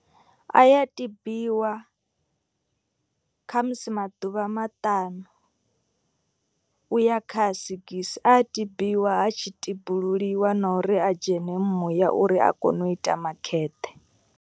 A ya tibiwa khamusi maḓuvha maṱanu u ya kha a sigisi. A tibiwa ha tshi tibululiwa na uri a dzhene muya uri a kone u ita makheṱhe.